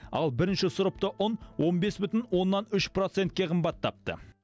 ал бірінші сұрыпты ұн он бес бүтін оннан үш процентке қымбаттапты